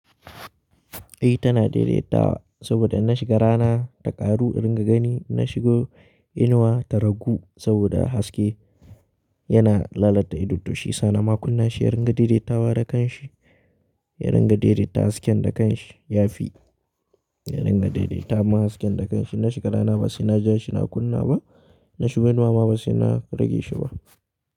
I tana daidaitawa saboda inna shiga rana ta ƙaru, in dinga gani na shigo inuwa ta ragu saboda haske yana lalata ido to shi. Sa nama kunna shi, yaringa daidaitawa da kanshi, yaringa daidaita hasken da kanshi ya fi, yaringa daidaita ma hasken da kanshi. Na shiga rana ba sai naja shi na kunna ba, na shiga inuwa ma ba sai na rage shi ba.